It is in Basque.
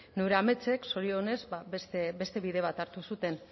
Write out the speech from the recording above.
neure ametsek zorionez beste bide bat hartu zuten